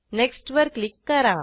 next वर click करा